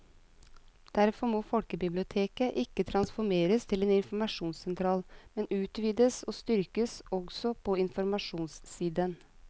Derfor må folkebiblioteket ikke transformeres til en informasjonssentral, men utvides og styrkes også på informasjonssiden.